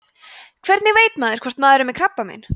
hvernig veit maður hvort maður er með krabbamein